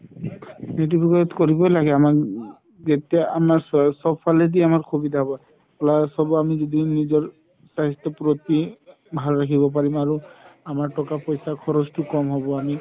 সেইটো বিষয়ত কৰিবৈ লাগে চব ফালে দি সুবিধা হ'ব plus হ'ব আমি যদিও নিজৰ স্বাস্থ্যৰ প্ৰতি ভাল ৰাখিব পাৰিম আৰু আমাৰ ট্কা পইচা খৰচতো ক'ম হ'ব